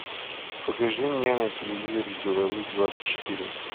покажи мне на телевизоре беларусь двадцать четыре